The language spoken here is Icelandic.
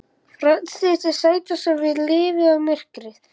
Frelsið til að sættast við lífið og myrkrið.